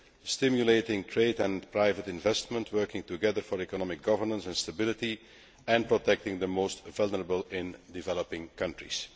stimulating trade and private investment, working together for economic governance and stability, and protecting the most vulnerable in developing countries.